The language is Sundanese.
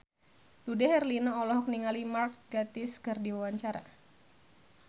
Dude Herlino olohok ningali Mark Gatiss keur diwawancara